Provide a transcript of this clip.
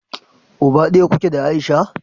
Uba daya kuke da Aisha?